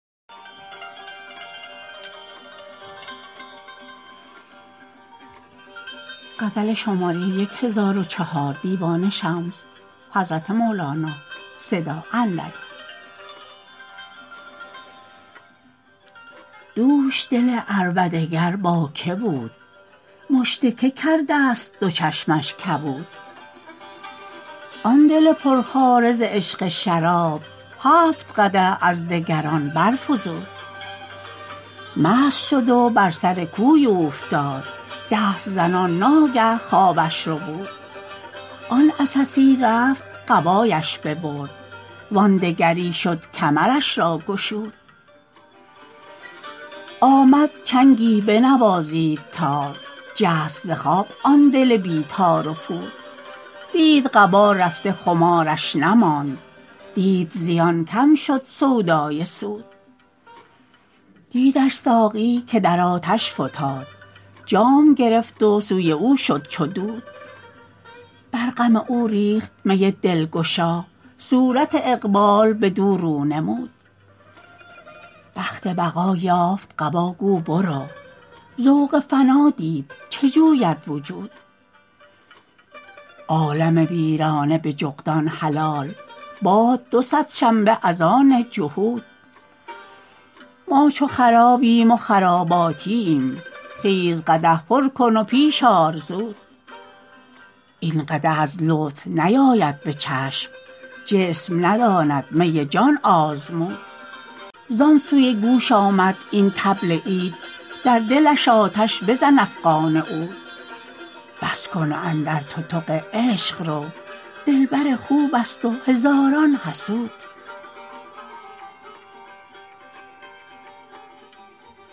دوش دل عربده گر با کی بود مشت کی کردست دو چشمش کبود آن دل پرخواره ز عشق شراب هفت قدح از دگران برفزود مست شد و بر سر کوی اوفتاد دست زنان ناگه خوابش ربود آن عسسی رفت قبایش ببرد وان دگری شد کمرش را گشود آمد چنگی بنوازید تار جست ز خواب آن دل بی تار و پود دید قبا رفته خمارش نماند دید زیان کم شد سودای سود دیدش ساقی که در آتش فتاد جام گرفت و سوی او شد چو دود بر غم او ریخت می دلگشا صورت اقبال بدو رو نمود بخت بقا یافت قبا گو برو ذوق فنا دید چه جوید وجود عالم ویرانه به جغدان حلال باد دو صد شنبه از آن جهود ما چو خرابیم و خراباتییم خیز قدح پر کن و پیش آر زود این قدح از لطف نیاید به چشم جسم نداند می جان آزمود زان سوی گوش آمد این طبل عید در دلش آتش بزن افغان عود بس کن و اندر تتق عشق رو دلبر خوبست و هزاران حسود